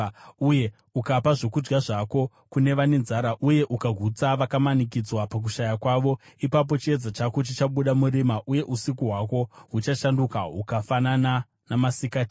uye ukapa zvokudya zvako kune vane nzara uye ukagutsa vakamanikidzwa pakushaya kwavo, ipapo chiedza chako chichabuda murima, uye usiku hwako huchashanduka hukafanana namasikati.